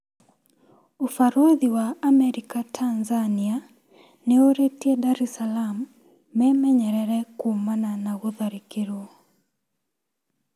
ũbaruthi wa Amerika Tanzania nĩurĩtie Dar es Salaam memenyerere kumana na gũtharikirwo.